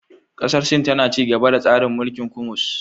Kasar Sin tana ci gaba da tsarin mulkin kummus